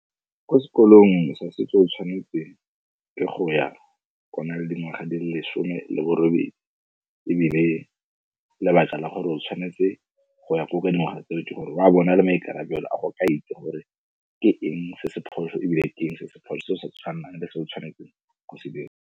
Ko sekolong sa setso o tshwanetse ke go ya o na le dingwaga di le lesome le borobedi, ebile lebaka la gore o tshwanetse go ya koo ka dingwaga tseo ke gore o a be o nale maikarabelo a go ka itse gore ke eng se se phoso ebile teng se se phoso se o sa tshwannang le se o tshwanetseng go se dira